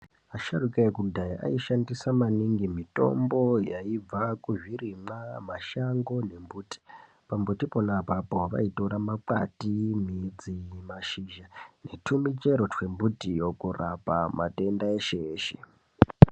Asharuka ekudhaya ayi shandisa maningi mitombo yaibva ku zvirimwa mashango ne mbuti pa mbuti pona apapo vaitora makwati midzi mashizha ne tu michero twe mutiyo kurapa matenda eshe eshe.